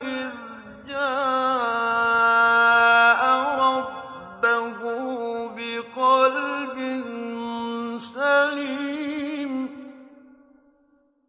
إِذْ جَاءَ رَبَّهُ بِقَلْبٍ سَلِيمٍ